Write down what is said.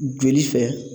Joli fɛ